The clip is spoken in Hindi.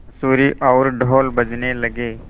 बाँसुरी और ढ़ोल बजने लगे